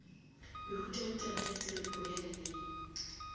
mehutahutana ya tiripo ya leleme